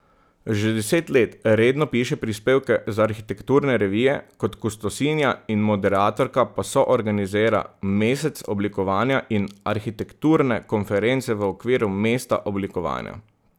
Že deset let redno piše prispevke za arhitekturne revije, kot kustosinja in moderatorka pa soorganizira Mesec oblikovanja in arhitekturne konference v okviru Mesta oblikovanja.